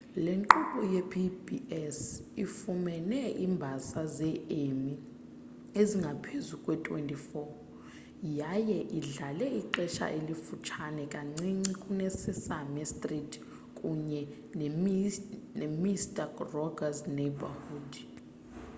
le nkqubo yepbs ifumene iimbasa ze-emmy ezingaphezu kwe-24 yaye idlale ixesha elifutshane kancinci kune-sesame street kunye nemister roger's neighborhood